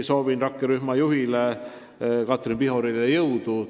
Soovin rakkerühma juhile Katrin Pihorile jõudu!